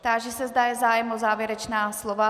Táži se, zda je zájem o závěrečná slova.